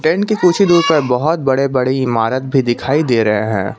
इनके कुछ ही दूर पर बहुत बड़े बड़े इमारत भी दिखाई दे रहे हैं।